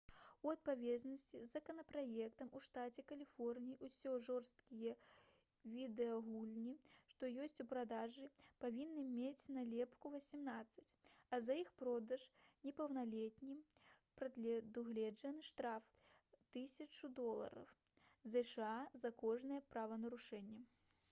у адпаведнасці з законапраектам у штаце каліфорнія ўсе жорсткія відэагульні што ёсць у продажы павінны мець налепку «18» а за іх продаж непаўналетнім прадугледжаны штраф у 1000 долараў зша за кожнае правапарушэнне